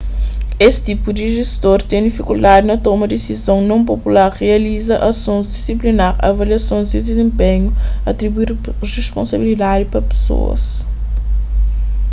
es tipu di jestor ten difikuldadi na toma disizon non popular rializa asons disiplinar avaliasons di dizenpenhu atribui responsabilidadi pa pesoas